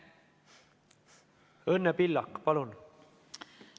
Õnne Pillak, palun!